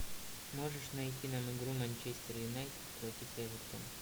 можешь найти нам игру манчестер юнайтед против эвертона